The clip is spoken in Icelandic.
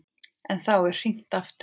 En þá er hringt aftur.